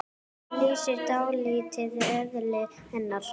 Þetta lýsir dálítið eðli hennar.